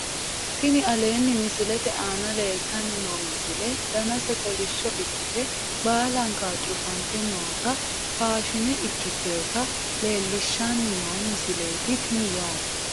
Tini aleenni misilete aana leeltanni noo misile danase kolishsho ikkite baalankawa cufante noota faashine ikkiteyota leellishshannii noo misileeti tini yaate